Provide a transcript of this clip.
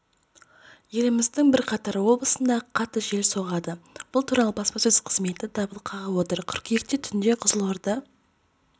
еліміздің бірқатар облысында қатты желге соғады бұл туралы баспасөз қызметі дабыл қағып отыр қыркүйекте түнде қызылорда